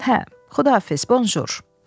Hə, Xudahafiz, bonjur.